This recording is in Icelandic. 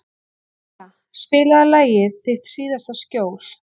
Dynja, spilaðu lagið „Þitt síðasta skjól“.